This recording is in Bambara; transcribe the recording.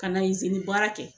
Ka na baara kɛ.